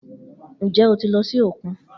Njẹ o ti lọ si okun?